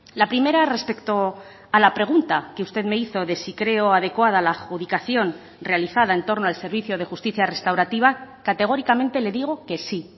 la primera respecto a la pregunta que usted me hizo de sí creo adecuada la adjudicación realizada en torno al servicio de justicia restaurativa categóricamente le digo que sí